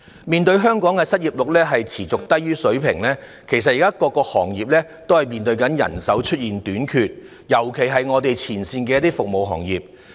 面對香港的失業率持續處於低水平，各行各業均面對人手短缺的問題，尤其是前線服務業。